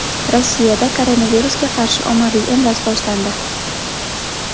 Rossiyada koronavirusga qarshi ommaviy emlash boshlandi.